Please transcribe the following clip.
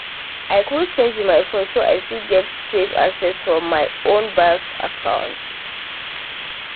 i quick change my phone so i fit get safe access for my own bank app